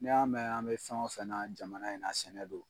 N'i y'a mɛn an bɛ fɛn o fɛn na jamana in na ,sɛnɛ don.